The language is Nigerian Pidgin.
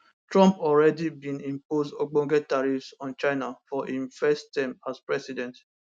trump already bin impose ogbonge tariffs on china for im first term as president